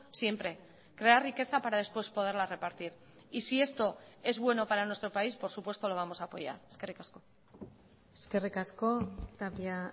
siempre crear riqueza para después poderla repartir y si esto es bueno para nuestro país por supuesto lo vamos a apoyar eskerrik asko eskerrik asko tapia